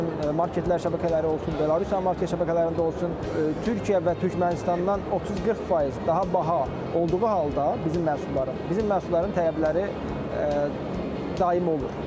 Rusiyanın marketlər şəbəkələri olsun, Belarusiyanın market şəbəkələrində olsun, Türkiyə və Türkmənistandan 30-40% daha baha olduğu halda bizim məhsulların, bizim məhsulların tələbləri daim olur.